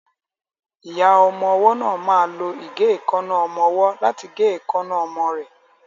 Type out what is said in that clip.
Ìyá ọmọwọ́ náà ma lo ìgéìkánná ọmọwọ́ láti gé ìkaná ọmọ ẹ.